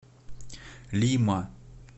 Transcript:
лима